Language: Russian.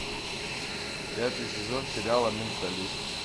пятый сезон сериала менталист